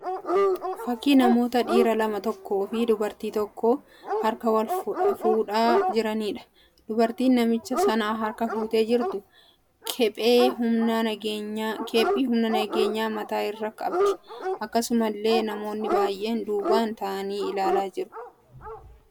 Fakkii namoota lama dhiira tokko fi dubartiin tokko harka wal fuudhaa jiraniidha. Dubartiin namicha sana harka fuutee jirtu kephee humna nageenyaa mataa irraa qabdi. Akkasumallee namoonni baay'een duubaan ta'aanii ilaalaa jiru.